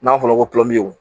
N'a fɔra ko